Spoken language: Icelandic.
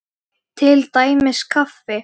Til dæmis kaffi.